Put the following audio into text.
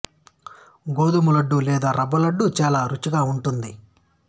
గోధుమ లడ్డు లేదా రవ్వ లడ్డు చాలా రుచిగా ఉంటుంది